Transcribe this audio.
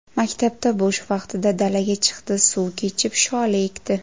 Maktabdan bo‘sh vaqtida dalaga chiqdi, suv kechib sholi ekdi.